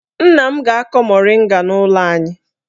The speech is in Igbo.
Nna m ga-akọ moringa n'ụlọ anyị.